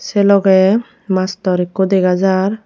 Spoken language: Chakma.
che logey mastor ikko dega jaar.